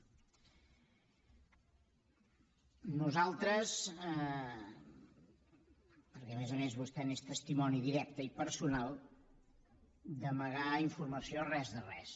nosaltres perquè a més a més vostè n’és testimoni directe i personal d’amagar informació res de res